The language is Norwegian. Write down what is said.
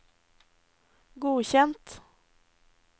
godkjent